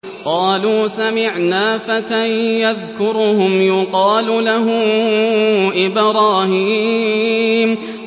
قَالُوا سَمِعْنَا فَتًى يَذْكُرُهُمْ يُقَالُ لَهُ إِبْرَاهِيمُ